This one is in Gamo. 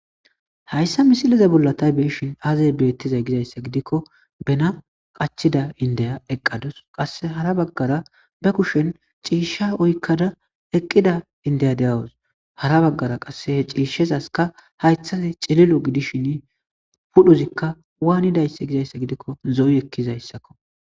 hayssa misiliza bolla tay be'shin aze betizay gizayssa gidikko bena qachida indeya eqqadus , qase hara baggara be kushen ciishsha oykkada eqqida indeya deyawus, hara baggara qasse he ciishshezaska haythazi cililo gidishin pudhozikka waanidayse gizaysa gidikko, zo'i ekizaysakko.